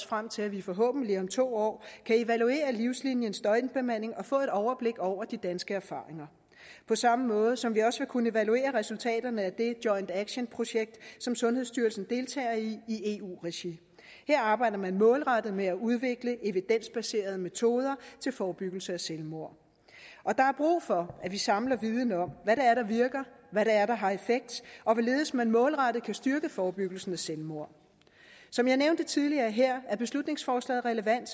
frem til at vi forhåbentlig om to år kan evaluere livsliniens døgnbemanding og få et overblik over de danske erfaringer på samme måde som vi også vil kunne evaluere resultaterne af det joint action projekt som sundhedsstyrelsen deltager i i eu regi her arbejder man målrettet med at udvikle evidensbaserede metoder til forebyggelse af selvmord og der er brug for at vi samler viden om hvad det er der virker hvad det er der har effekt og hvorledes man målrettet kan styrke forebyggelsen af selvmord som jeg nævnte tidligere her er beslutningsforslaget relevant